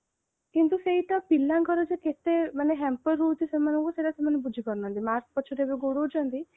କିନ୍ତୁ ସେଇଟା ପିଲାଙ୍କର ଯେ କେତେ ମାନେ hamper ହଉଛି ସେମାନଙ୍କୁ ସେଇଟା ସେମାନେ ବୁଝିପାରୁନାହାନ୍ତି mark ପଛରେ ଗୋଡଉଛନ୍ତି